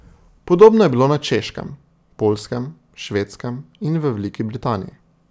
Podobno je bilo na Češkem, Poljskem, Švedskem in v Veliki Britaniji.